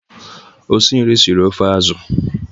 Osinri siri ofe azụ.